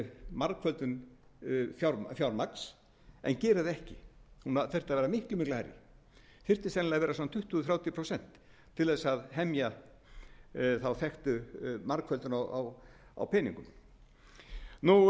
margföldun fjármagns en gerir það ekki hún þyrfti að vera miklu miklu hærri þyrfti að vera svona tuttugu til þrjátíu prósent til að hemja þá þekktu margföldun á peningum sjöunda þá eru það framvirkir